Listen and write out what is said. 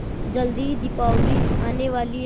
जल्दी ही दीपावली आने वाली है